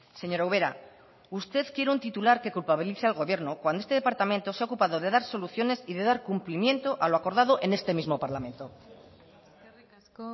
señora ubera usted quiere un titular que culpabilice al gobierno cuando este departamento se ha ocupado de dar soluciones y de dar cumplimiento a lo acordado en este mismo parlamento eskerrik asko